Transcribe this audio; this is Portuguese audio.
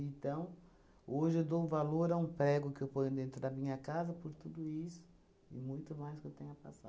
hoje eu dou valor a um prego que eu ponho dentro da minha casa por tudo isso e muito mais que eu tenha